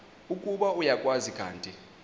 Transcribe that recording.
ukuba uyakwazi kanti